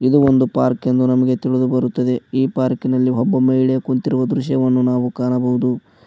ಇದು ಒಂದು ಪಾರ್ಕ್ ಎಂದು ನಮಗೆ ತಿಳಿದು ಬರುತ್ತದೆ ಈ ಪಾರ್ಕಿ ನಲ್ಲಿ ಒಬ್ಬ ಮಹಿಳೆ ಕುಂತಿರುವ ದೃಶ್ಯ ನಾವು ಕಾಣಬಹುದು.